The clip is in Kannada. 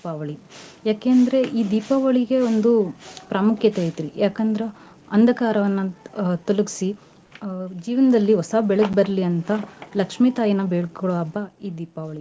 ದೀಪಾವಳಿ ಯಾಕೇ ಅಂದ್ರೆ ಈ ದೀಪಾವಳಿಗೆ ಒಂದು ಪ್ರಾಮುಖ್ಯತೆ ಐತ್ರೀ. ಯಾಕಂದ್ರ ಅಂದಕಾರವನ್ನ ಅಹ್ ತೊಲಗ್ಸಿ ಅಹ್ ಜೀವನ್ದಲ್ಲಿ ಹೊಸ ಬೆಳ್ಕ ಬರ್ಲಿ ಅಂತ ಲಕ್ಷ್ಮೀ ತಾಯೀನ ಬೇಡ್ಕೋಳೋ ಹಬ್ಬ ಈ ದೀಪಾವಳಿ.